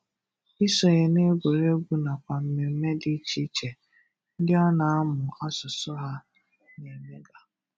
Ịsonye n'egwùrègwù nàkwà mmemme dị iche iche ndị ọ na-amụ asụsụ ha na-emegà.